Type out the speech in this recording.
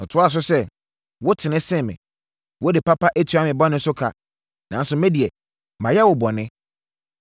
Ɔtoaa so sɛ, “Wotene sene me. Wode papa atua me bɔne so ka, nanso me deɛ mayɛ wo bɔne.